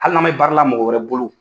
Hali n'an bɛ baara la mɔgɔ wɛrɛ bolo.